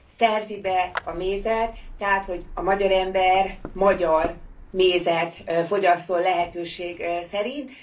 szerzi be a mézet, tehát hogy a magyar ember magyar mézet fogyasszon lehetőség szerint.